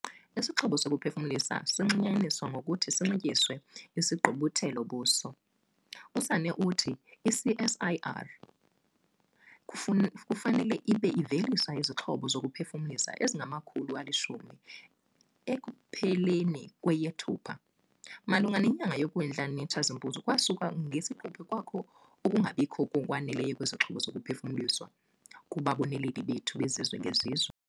Isixhobo sokuphefumlisa zinxulumanyiswa ngokuthi zinxityiswe isigqubuthelo-buso. USanne uthi i-CSIR kufanele ibe ivelise izixhobo zokuphefumlisa ezingama-10 000 ekupheleni kweyeThupha. "Malunga nenyanga yoKwindla nekaTshazimpuzi, kwasuka ngesiquphe kwakho ukungabikho ngokwaneleyo kwezixhobo zokuphefumlisa kubaboneleli bethu bezizwe-ngezizwe."